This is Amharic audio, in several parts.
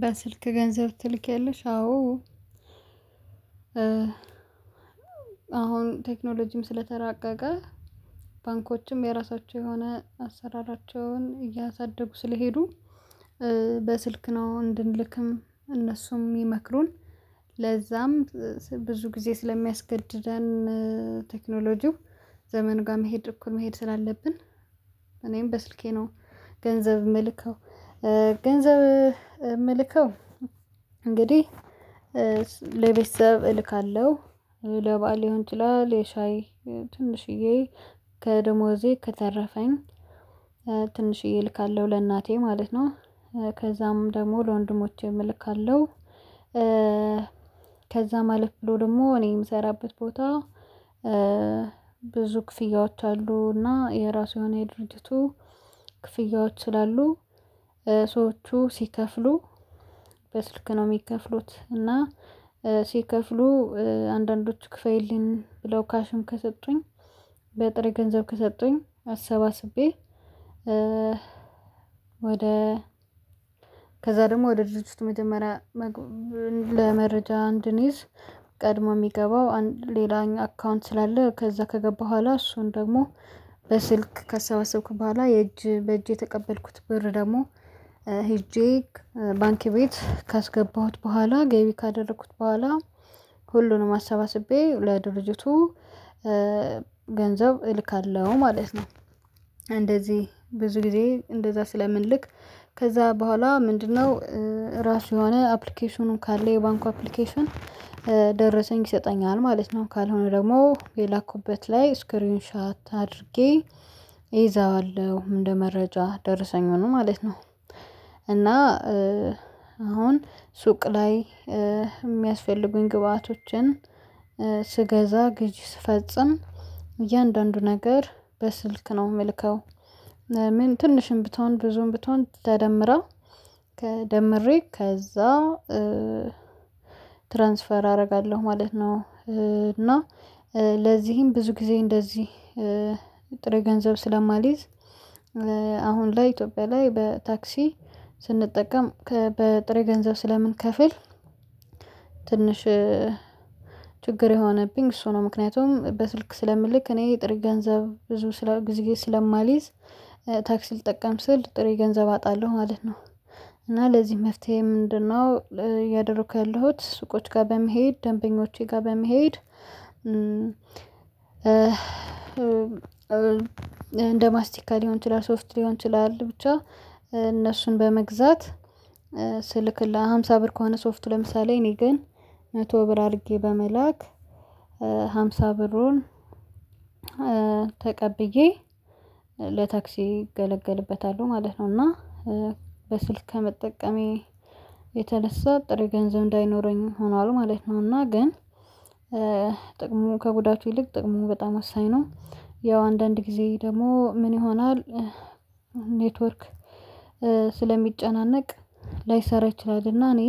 በስልክ ገንዘብ ትልኪያለሽ አዎ። አሁን ቴክኖሎጂም ስለተራቀቀ ባንኮችም የራሳቸው የሆነ አሰራራቸውን እያሳደጉ ስለሄዱ። በስልክ ነው እንድንልክም እነሱም የሚመክሩን ለዛም ብዙ ጊዜ ስለሚያስገድደን ቴክኖሎጂው ዘመን ጋር መሄድ እኩል መሄድ ስላለብን እኔም በስልኬ ነው። ገንዘብ የምልከው ገንዘብ የምልከው እንግዲህ ለቤተሰብ እልካለሁ ለበአል ሊሆን ይችላል ለሻይ ትንሽዬ ከደሞዜ ከተረፈኝ ትንሽዬ እልካለሁ ለእናቴ ማለት ነው። ከዛም ደግሞ ለወንድሞቼም እልካለሁ። ከዛም አለፍ ብሎ ደግሞ እኔ የምሰራበት ቦታ ብዙ ክፍያዎች አሉ። እና የራሱ የሆነ የድርጅቱ ክፍያዎች ስላሉ ሰዎቹ ሲከፍሉ በስልክ ነው የሚከፍሉት። እና ሲከፍሉ አንዳንዶች ክፍይልኝ ካሽም ከሰጡኝ በጥሬ ገንዘብ ከሰጡኝ አሰባስቤ። ወደ ከዛ ደግሞ ወደ ድርጅቱ መጀመሪያ ለመረጃ እንድንይዝ ቀድሞ የሚገባው ሌላኛው አካውንት ስላለ። ከዛ ከገባ በኋላ እሱን ደግሞ በስልክ ካሰባሰብኩ በኋላ የእጅ በእጄ የተቀበልኩት ብር ደግሞ ሄጄ ባንኪ ቤት ካስገባሁት በኋላ ገቢ ካደረኩት በኋላ ሁሉንም አሰባስቤ ለድርጅቱ ገንዘብ እልካለሁ ማለት ነው። እንደዚህ ብዙ ጊዜ እንደዛ ስለምንልክ ከዛ በኋላ ምንድነው? ራሱ የሆነ አፕሊኬሽኑን ካለ የባንኩ አፕሊኬሽን ደረሰኝ ይሰጠኛል ማለት ነው። ካልሆነ ደግሞ የላኩበት ላይ ስክሪን ሻት አድርጌ ይዛዋለሁ እንደ መረጃ ደርሰኝ ሆኖ ማለት ነው። እና አሁን ሱቅ ላይ የሚያስፈልጉኝ ግብአቶችን ስገዛ ግዥ ስፈጽም እያንዳንዱ ነገር በስልክ ነው የምልከው ምን ትንሽም ብትሆን ብዙም ብትሆን ተደምራ ደምሬ ከዛ ትራንስፈር አደርጋለሁ ማለት ነው። እና ለዚህም ብዙ ጊዜ እንደዚህ ጥሬ ገንዘብ ስለማልይዝ አሁን ላይ ኢትዮጵያ ላይ በታክሲ ስንጠቀም በጥሬ ገንዘብ ስለምንከፍል። ትንሽ ችግር የሆነብኝ እሱ ነው ምክንያቱም በስልክ ስለምልክ እኔ ጥሬ ገንዘብ ብዙ ጊዜ ስለማልይዝ ታክሲ ልጠቀም ስል ጥሬ ገንዘብ አጣለሁ ማለት ነው። እና ለዚህ መፍትሄ ምንድነው? እያደረኩ ያለሁት ሱቆች ጋር በመሄድ ደንበኞቼ ጋር በመሄድ እንደ ማስቲካ ሊሆን ይችላል ሶፍት ሊሆን ይችላል ብቻ እነሱን በመግዛት ስልክላ ለሃምሳ ብር ከሆነ ሶፍት ለምሳሌ እኔ ግን መቶ ብር አድርጌ በመላክ ሃምሳ ብሩን ተቀብዬ ለታክሲ እገለገልበታለሁ ማለት ነው። እና በስልክ ከመጠቀሜ የተነሳ ጥሬ ገንዘብ እንዳይኖረኝ ሆኗል ማለት ነው። እና ግን ጥቅሙ ከጉዳቱ ይልቅ ጥቅሙ በጣም ወሳኝ ነው። ያው አንዳንድ ጊዜ ደግሞ ምን ይሆናል? ኔትወርክ ስለሚጨናነቅ ላይሰራ ይችላልና እኔ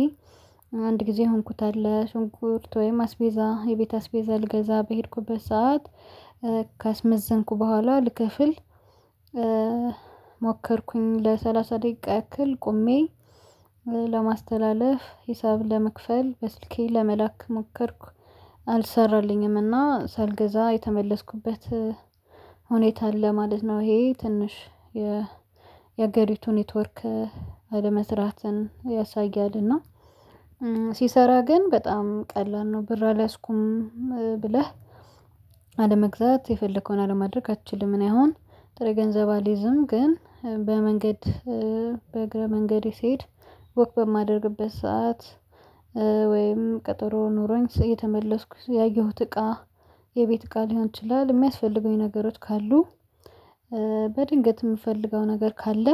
አንድ ጊዜ የሆንኩት አለ ሽንኩርት ወይም አስቤዛ የቤት አስቤዛ ልገዛ በሄድኩበት ሰዓት ካስመዘንኩ በኋላ ልክፍል ሞከርኩኝ ለሰላሳ ደቂቃ ያክል ቆሜ ለማስተላለፍ ሂሳብ ለመክፈል በስልኬ ለመላክ ሞከርኩ አልሰራልኝምና ሳልገዛ የተመለስኩበት ሁኔታ አለ ማለት ነው። ይሄ ትንሽ የሀገሪቱ ኔትወርክ አለመስራትን ያሳያልና ሲሰራ ግን በጣም ቀላል ነው። ብር አልያዝኩም ብለህ አለመግዛት የፈለከውን አለማድረግ አትችልም። እኔ አሁን ጥሬ ገንዘብ አልይዝም ግን በመንገድ በእግረ መንገድ ሲሄድ ወክ በማደርግበት ሰዓት ወይም ቀጠሮ ኖሮኝ የተመለስኩት ያየሁት እቃ የቤት እቃ ሊሆን ይችላል። የሚያስፈልጉኝ ነገሮች ካሉ በድንገት የምፈልገው ነገር ካለ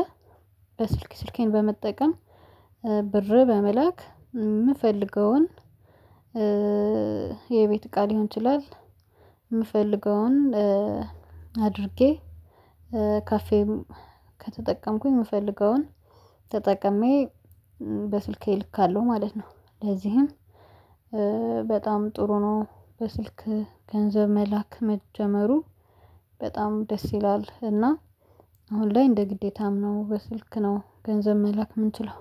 በስልክ ስልኬን በመጠቀም ብር በመላክ የምፈልገውን የቤት እቃ ሊሆን ይችላል የምፈልገውን አድርጌ ካፌም ከተጠቀምኩኝ የምፈልገውን ተጠቅሜ በስልኬ ልካለሁ ማለት ነው። ለዚህም በጣም ጥሩ ነው። በስልክ ገንዘብ መላክ መጀመሩ በጣም ደስ ይላል እና አሁን ላይ እንደ ግዴታም ነው በስልክ ነው ገንዘብ መልክ የምንችለው